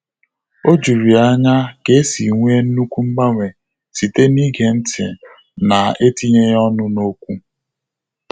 Ọ jụrụ ya anya ka e si nwee nnukwu mgbanwe site na-ige ntị na-etinyeghị ọnụ n'okwu